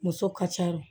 Muso ka ca o